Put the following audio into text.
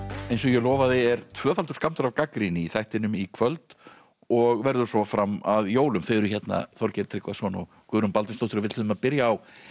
eins og ég lofaði er tvöfaldur skammtur af gagnrýni í þættinum í kvöld og verður svo fram að jólum þau eru hérna Þorgeir Tryggvason og Guðrún Baldvinsdóttir og við ætluðum að byrja á